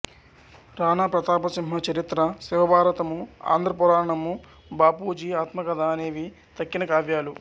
రాణా ప్రతాపసింహ చరిత్ర శివభారతము ఆంధ్రపురాణము బాపూజీ ఆత్మకథ అనేవి తక్కిన కావ్యాలు